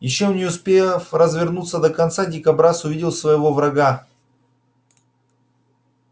ещё не успев развернуться до конца дикобраз увидел своего врага